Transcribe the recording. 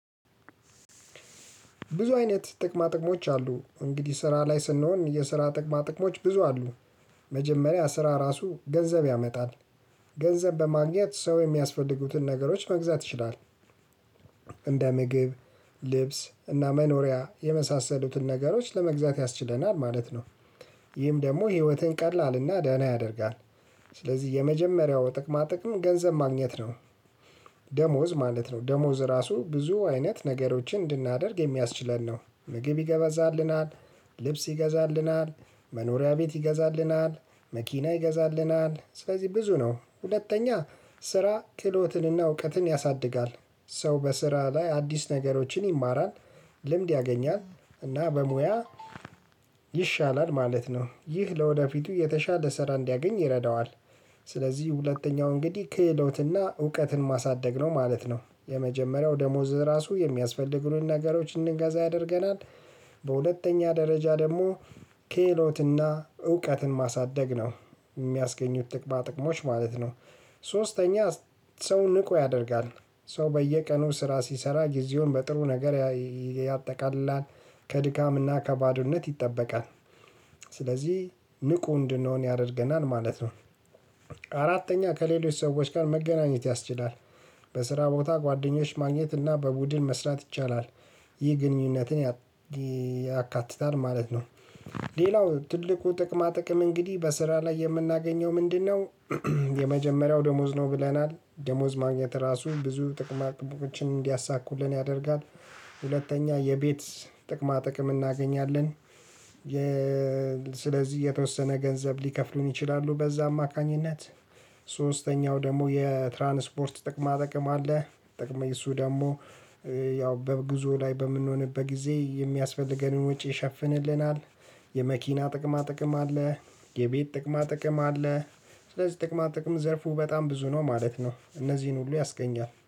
ብዙ አይነት ጥቅማ ጥቅሞች አሉ እንግዲህ ስራ ላይ ስንሆን የስራ ጥቅማ ጥቅሞች ብዙ አሉ። መጀመሪያ ስራ ራሱ ገንዘብ ያመጣል። ገንዘብ በማግኘት ሰው የሚያስፈልጉትን ነገሮች መግዛት ይችላል። እንደ ምግብ ልብስ እና መኖሪያ የመሳሰሉትን ነገሮች ለመግዛት ያስችለናል ማለት ነው። ይህም ደግሞ ህይወትን ቀላልና ደህና ያደርጋል። ስለዚህ የመጀመሪያው ጥቅማ ጥቅም ገንዘብ ማግኘት ነው። ደሞዝ ማለት ነው ደሞዝ ራሱ ብዙ አይነት ነገሮችን እንድናደርግ የሚያስችለን ነው። ምግብ ይገዛልናል ልብስ ይገዛልናል መኖሪያ ቤት ይገዛልናል። መኪና ይገዛልናል ስለዚህ ብዙ ነው። ሁለተኛ ስራ ክህሎትንና እውቀትን ያሳድጋል። ሰው በስራ ላይ አዲስ ነገሮችን ይማራል። ልምድ ያገኛል እና በሙያ ይሻላል ማለት ነው። ይህ ለወደፊቱ የተሻለ ስራ እንዲያገኝ ይረዳዋል። ስለዚህ ሁለተኛው እንግዲህ ክህሎትና እውቀትን ማሳደግ ነው ማለት ነው። የመጀመሪያው ደሞዝ ራሱ የሚያስፈልጉልንን ነገሮች እንድንገዛ ያደርገናል። በሁለተኛ ደረጃ ደግሞ ክህሎትና እውቀትን ማሳደግ ነው። የሚያስገኙት ጥቅማ ጥቅሞች ማለት ነው። ሶስተኛ ሰው ንቁ ያደርጋል። ሰው በየቀኑ ስራ ሲሰራ ጊዜውን በጥሩ ነገር ያጠቃልላል። ከድካምና ከባዶነት ይጠበቃል። ስለዚህ ንቁ እንድንሆን ያደርገናል ማለት ነው። አራተኛ ከሌሎች ሰዎች ጋር መገናኘት ያስችላል። በስራ ቦታ ጓደኞች ማግኘት እና በቡድን መስራት ይቻላል። ይህ ግንኙነትን ያካትታል ማለት ነው። ሌላው ትልቁ ጥቅማ ጥቅም እንግዲህ በስራ ላይ የምናገኘው ምንድነው? የመጀመሪያው ደሞዝ ነው ብለናል ደሞዝ ማግኘት ራሱ ብዙ ጥቅማ ጥቅሞችን እንዲያሳኩልን ያደርጋል። ሁለተኛ የቤት ጥቅማ ጥቅም እናገኛለን። ስለዚህ የተወሰነ ገንዘብ ሊከፍሉን ይችላሉ በዛ አማካኝነት። ደግሞ የትራንስፖርት ጥቅማ ጥቅም አለ። ጥቅም የሱ ደግሞ ያው በጉዞ ላይ በምንሆንበት ጊዜ የሚያስፈልገንን ወጪ ይሸፍንልናል። የመኪና ጥቅማ ጥቅም አለ። የቤት ጥቅማ ጥቅም አለ። ስለዚህ ጥቅማ ጥቅም ዘርፉ በጣም ብዙ ነው ማለት ነው። እነዚህን ሁሉ ያስገኛል